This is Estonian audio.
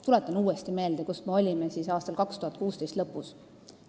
Tuletan uuesti meelde, kus me olime 2016. aasta lõpus.